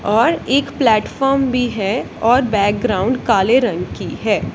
और एक प्लेटफार्म भी है और बैकग्राउंड काले रंग की है।